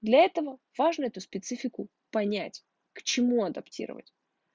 для этого важно эту специфику понять к чему адаптировать